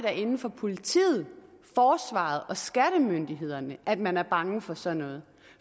er inde for politiet forsvaret og skattemyndighederne at man er bange for sådan noget